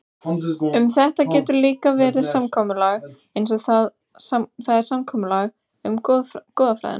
Um þetta getur líka verið samkomulag, eins og það er samkomulag um goðafræðina.